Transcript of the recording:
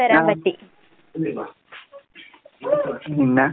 ആഹ്. പിന്നാ?